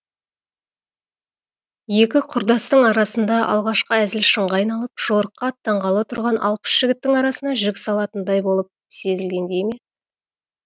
екі құрдастың арасында алғашқы әзіл шынға айналып жорыққа аттанғалы тұрған алпыс жігіттің арасына жік салатындай болып сезілгендей ме